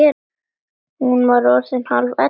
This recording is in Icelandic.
Hún var orðin hálf ellefu.